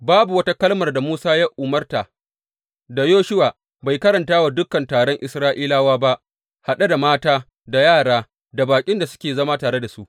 Babu wata kalmar da Musa ya umarta da Yoshuwa bai karanta wa dukan taron Isra’ilawa ba, haɗe da mata, da yara, da baƙin da suke zama tare da su.